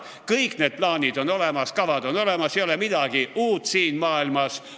Kõik need plaanid ja kavad on olemas, ei ole midagi uut siin maailmas.